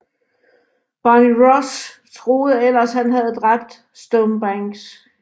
Barney Ross troede ellers at han havde dræbt Stonebanks